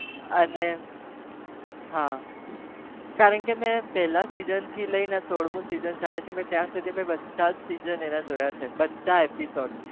અને હા કારણ કે મેં પહેલા season થી લઈને સોળમુ season ચાલે છે મેં ત્યાં સુધી મેં બધા જ season એના જોયા છે, બધા episode